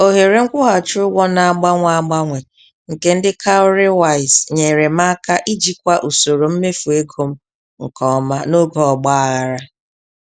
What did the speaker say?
Ohere nkwụghachi ụgwọ na-agbanwe agbanwe nke ndị "cowrywise" nyere m aka ijikwa usoro mmefu ego m nke ọma n'oge ọgbaghara.